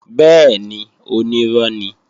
Bẹ́ẹ̀ni, onírọ́ ni